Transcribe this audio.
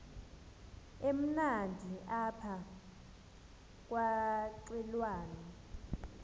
emnandi apha kwaqhelwana